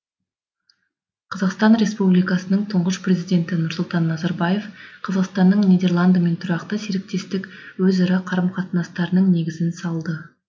қр тұңғыш президенті нұрсұлтан назарбаев қазақстанның нидерландымен тұрақты серіктестік өзара қарым қатынастарының негізін салды